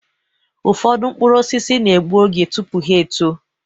Ụfọdụ mkpụrụ osisi na-egbu oge tụpụ ha-eto